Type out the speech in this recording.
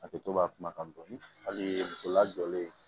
A kɛ to ka kumakan dɔɔni hali muso lajɔlen